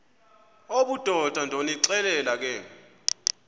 obudoda ndonixelela ke